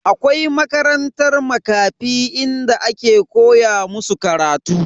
Akwai makarantan Makafi inda ake koya musu karatu.